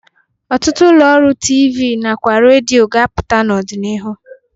Ọtụtụ ụlọ ọrụ TV na kwa redio ga-apụta n'ọdịnihu.